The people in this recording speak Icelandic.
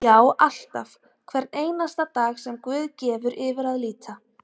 Já, alltaf, hvern einasta dag sem guð gefur yfir að líta.